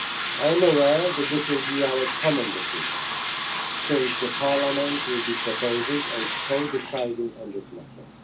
lists. I am aware that this will be our common decision, since Parliament will be proposing and co deciding on this